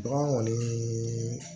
Bagan kɔni